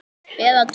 Eða tvo.